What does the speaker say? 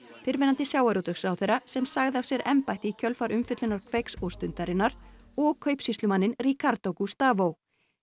fyrrverandi sjávarútvegsráðherra sem sagði af sér embætti í kjölfar umfjöllunar Kveiks og Stundarinnar og kaupsýslumanninn Ricardo Gustavo